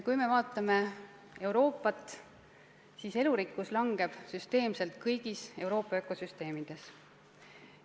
Kui me vaatame Euroopat, siis elurikkus väheneb süsteemselt kõigis Euroopa ökosüsteemides.